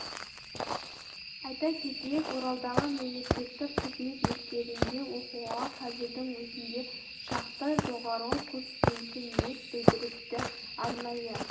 айта кетейік оралдағы мемлекеттік қызмет мектебінде оқуға қазірдің өзінде шақты жоғары курс студенті ниет білдіріпті арнайы